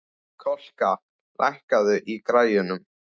Kolka, lækkaðu í græjunum.